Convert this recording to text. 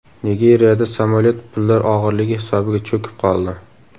Nigeriyada samolyot pullar og‘irligi hisobiga cho‘kib qoldi .